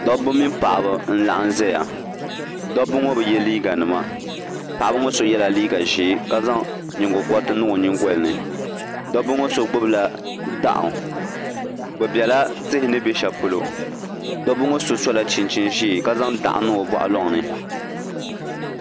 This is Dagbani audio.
Dabba mini paɣiba n-laɣim ʒiya dabba ŋɔ bi ye liiɡanima paɣiba ŋɔ so yɛla liiɡa ʒee ka zaŋ nyiŋɡɔkɔriti niŋ o nyiŋɡoli ni dabba ŋɔ so ɡbubila dɔɣu bɛ bela tihi ni be shɛli polo dabba ŋɔ so sola chinchin' ʒee ka zaŋ dɔɣu n-niŋ o bɔɣulɔŋ ni